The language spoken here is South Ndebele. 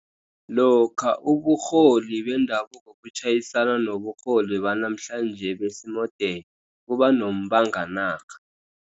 Lokha uburholi bendabuko butjhayisana noburholi banamhlanje besi-mordern kuba nombanganarha.